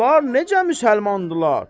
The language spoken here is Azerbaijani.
Bunlar necə müsəlmandırlar?